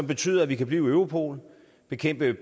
betyder at vi kan blive i europol bekæmpe